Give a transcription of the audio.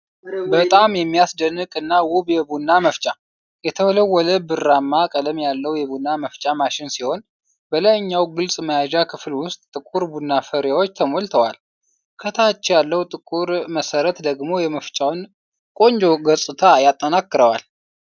በጣም የሚያስደንቅ እና ውብ የቡና መፍጫ! የተወለወለ ብርማ ቀለም ያለው የቡና መፍጫ ማሽን ሲሆን፣ በላይኛው ግልጽ መያዣ ክፍል ውስጥ ጥቁር ቡና ፍሬዎች ተሞልተዋል። ከታች ያለው ጥቁር መሠረት ደግሞ የመፍጫውን ቆንጆ ገጽታ ያጠናክረዋል።